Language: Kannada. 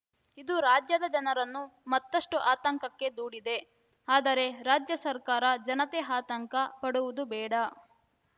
ಇದು ರಾಜ್ಯದ ಜನರನ್ನು ಮತ್ತಷ್ಟು ಆತಂಕಕ್ಕೆ ದೂಡಿದೆ ಆದರೆ ರಾಜ್ಯ ಸರ್ಕಾರ ಜನತೆ ಆತಂಕ ಪಡುವುದು ಬೇಡ